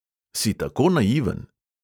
"Si tako naiven?"